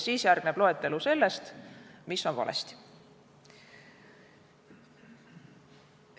Siis järgneb loetelu sellest, mis on valesti.